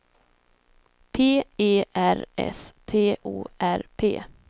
P E R S T O R P